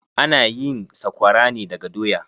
Ana yin sakwara ne daga doya.